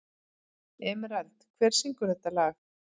Emerald, hver syngur þetta lag?